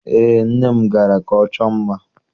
Eé, nne m gara ka ọ chọọ mma